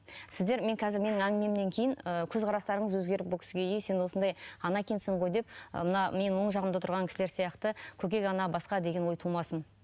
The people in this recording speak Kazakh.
сіздер мен қазір мен менің әңгімемнен кейін ыыы көзқарастарыңыз өзгеріп бұл кісіге е сен осындай ана екенсің ғой деп ы мына менің оң жағымда отырған кісілер сияқты көкек ана басқа деген ой тумасын